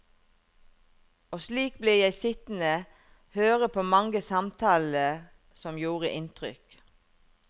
Og slik ble jeg sittende høre på mange samtaler som gjorde inntrykk.